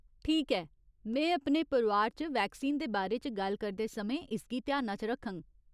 ठीक ऐ, में अपने परोआर च वैक्सीन दे बारे च गल्ल करदे समें इसगी ध्याना च रखङ।